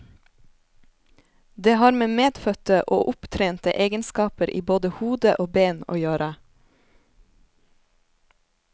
Det har med medfødte og opptrente egenskaper i både hode og ben å gjøre.